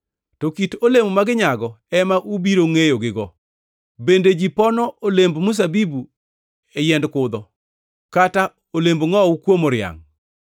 To kit olemo ma ginyago ema ubiro ngʼeyogigo. Bende ji pono olemb mzabibu e yiend kudho, kata olemb ngʼowu kuom oriangʼ?